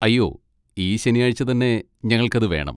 അയ്യോ, ഈ ശനിയാഴ്ച തന്നെ ഞങ്ങൾക്ക് അത് വേണം.